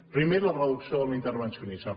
primer la reducció de l’intervencionisme